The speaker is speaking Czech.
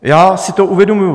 Já si to uvědomuji.